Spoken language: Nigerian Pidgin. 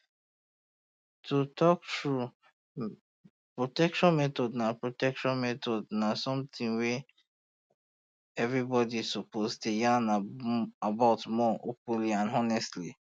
to talk true protection methods na protection methods na something wey everybody suppose dey yarn about more openly and honestly